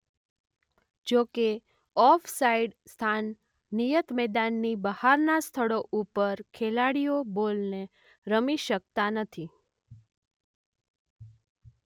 જોકે off side સ્થાન નિયત મેદાનની બહારના સ્થળો ઉપર ખેલાડીઓ બોલને રમી શકતા નથી.